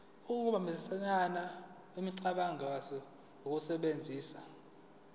ukuhambisana kwemicabango ngokusebenzisa